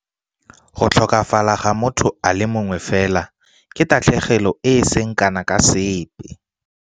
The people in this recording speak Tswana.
Go tlhokafala ga motho a le mongwe fela ke tatlhegelo e e seng kana ka sepe.